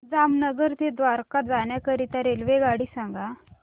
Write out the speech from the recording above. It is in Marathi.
जामनगर ते द्वारका जाण्याकरीता रेल्वेगाडी सांग